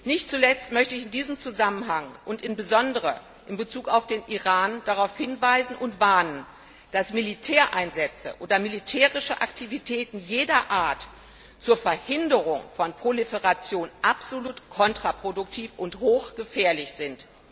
Nicht zuletzt möchte ich in diesem Zusammenhang und insbesondere in Bezug auf den Iran darauf hinweisen und warnen, dass Militäreinsätze oder militärische Aktivitäten jeder Art zur Verhinderung von Proliferation absolut kontraproduktiv und hochgefährlich sind.